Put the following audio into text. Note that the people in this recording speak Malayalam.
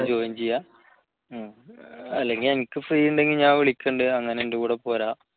ജോയിൻ ചെയ്യുക അല്ലെങ്കിൽ എനിക്ക് free യുണ്ടെങ്കിൽ ഞാൻ വിളിക്കുന്നുണ്ട് അങ്ങനെ എൻറെ കൂടെ പോരാം